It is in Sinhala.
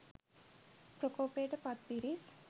ප්‍රකෝපයට පත් පිරිස්